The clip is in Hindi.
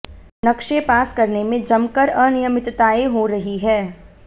नक्शे पास करने में जमकर अनियमितताएं हो रही हैं